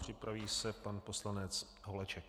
Připraví se pan poslanec Holeček.